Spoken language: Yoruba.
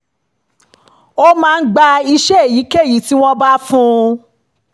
ó máa ń gba iṣẹ́ èyíkéyìí tí wọ́n bá fún un